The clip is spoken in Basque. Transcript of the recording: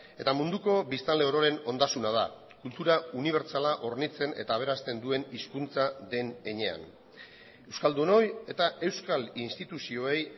eta munduko biztanle ororen ondasuna da kultura unibertsala hornitzen eta aberasten duen hizkuntza den heinean euskaldunoi eta euskal instituzioei